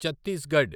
Chhattisgarh